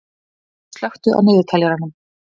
Sverrir, slökktu á niðurteljaranum.